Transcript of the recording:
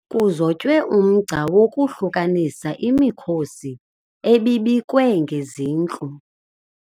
Kuzotywe umgca wokwahlukanisa imikhosi ebibekwe ngezintlu.